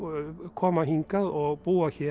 koma hingað og búa hér